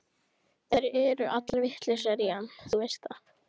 Þær eru allar vitlausar í hann, þú veist það.